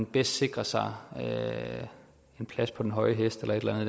bedst sikrer sig en plads på den høje hest eller et eller